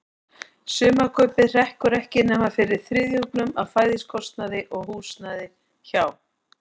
Sumarkaupið hrekkur ekki nema fyrir þriðjungnum af fæðiskostnaði og húsnæði hjá